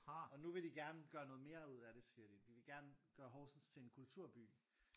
Og nu vil de gerne gøre noget mere ud af det siger de. De vil gerne gøre Horsens til en kulturby